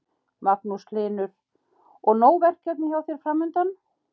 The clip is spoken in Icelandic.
Magnús Hlynur: Og nóg verkefni hjá þér framundan?